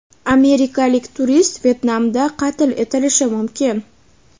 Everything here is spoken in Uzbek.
Amerikalik turist Vyetnamda qatl etilishi mumkin.